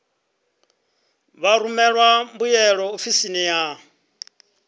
vha rumele mbuyelo ofisini ya